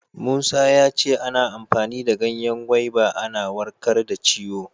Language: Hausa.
Musa ya ce ana amfani da ganyen gwaiva ana warkar da ciwo.